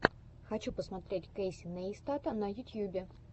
хочу посмотреть кэйси нейстата на ютьюбе